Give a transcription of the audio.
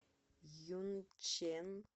юнчэн